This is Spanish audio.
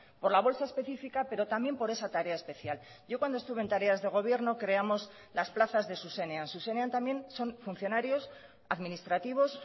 por la bolsa específica pero también por esa tarea especial yo cuando estuve en tareas de gobierno creamos las plazas de zuzenean zuzenean también son funcionarios administrativos